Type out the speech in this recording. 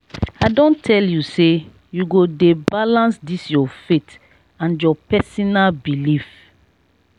i don tell you sey you go dey balance dis your faith and your personal belif.